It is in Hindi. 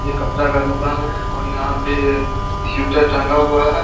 ये कपड़ा का दुकान है और यहां पे स्वेटर टंगा हुआ है।